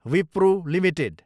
Wipro Ltd